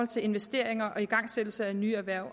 til investeringer og igangsættelse af nye erhverv